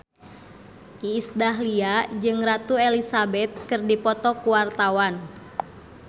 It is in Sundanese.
Iis Dahlia jeung Ratu Elizabeth keur dipoto ku wartawan